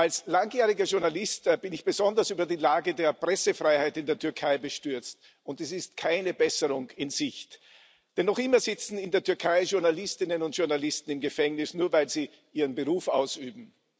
Als langjähriger Journalist bin ich besonders über die Lage der Pressefreiheit in der Türkei bestürzt, und es ist keine Besserung in Sicht. Denn noch immer sitzen in der Türkei Journalistinnen und Journalisten im Gefängnis, nur weil sie ihren Beruf ausüben.